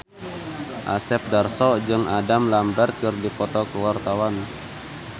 Asep Darso jeung Adam Lambert keur dipoto ku wartawan